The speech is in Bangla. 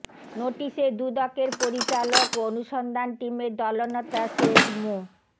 নোটিশে দুদকের পরিচালক ও অনুসন্ধান টিমের দলনেতা শেখ মো